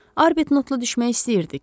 Arbutnotla düşmək istəyirdik.